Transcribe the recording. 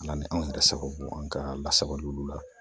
Ala ni anw yɛrɛ sababu an ka lasago olu la